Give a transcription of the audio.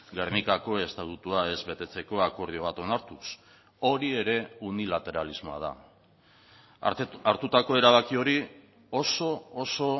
gernikako estatutua ez betetzeko akordio bat onartuz hori ere unilateralismoa da hartutako erabaki hori oso oso